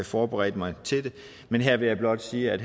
forberedte mig men her vil jeg blot sige at